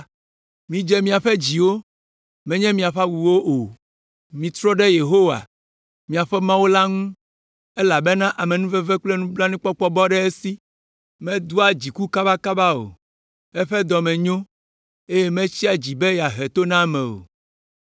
Midze miaƒe dziwo, menye miaƒe awuwo o. Mitrɔ ɖe Yehowa, miaƒe Mawu la ŋu, elabena amenuveve kple nublanuikpɔkpɔ bɔ ɖe esi. Medoa dziku kabakaba o, eƒe dɔ me nyo, eye metsia dzi be yeahe to na ame o.